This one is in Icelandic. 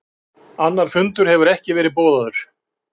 Annar fundur hefur ekki verið boðaður